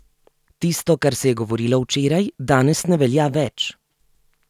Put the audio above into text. Tisto, kar se je govorilo včeraj, danes ne velja več.